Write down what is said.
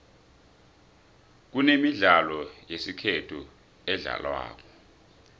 kunemidlalo yesikhethu edlalwako